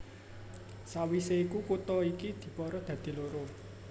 Sawisé iku kutha iki dipara dadi loro